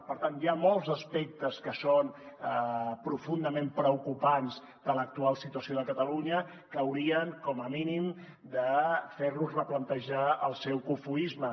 per tant hi ha molts aspectes que són profundament preocupants de l’actual situació de catalunya que haurien com a mínim de fer los replantejar el seu cofoisme